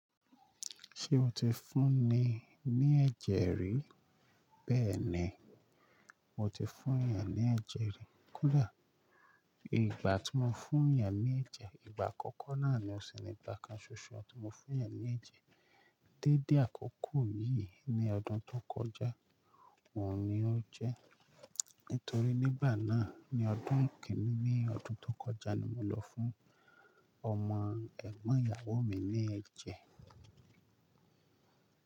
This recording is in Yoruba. Ṣé o ti fún ni ní ẹ̀jẹ̀ rí? Bẹ́ẹ̀ni, mo ti fún èèyàn ní ẹ̀jẹ̀ rí. Kò dà? Ìgbà tí mo fún ìyán ní ẹ̀jẹ̀, ìgbà àkọ́kọ́ náà ni ó sì ni ìgbà kan ṣoṣo tí mo fún ìyá ní ẹ̀jẹ̀. Déédé àkọ́kọ́ yìí ní ọdún tó kọjá, òun ni ó jẹ́. Nítorí nígbà náà ní ọdún kẹ́rin ní ọdún tó kọjá ni mo lọ fún ọmọ ẹ̀gbọ́n ìyàwó mi ní ẹ̀jẹ̀